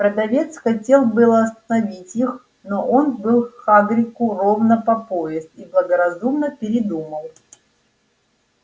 продавец хотел было остановить их но он был хагриду ровно по пояс и благоразумно передумал